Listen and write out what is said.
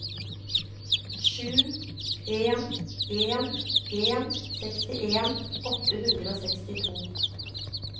sju en en en sekstien åtte hundre og sekstito